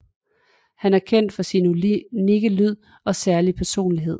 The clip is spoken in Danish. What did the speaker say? Han er kendt for sin unikke lyd og særlige personlighed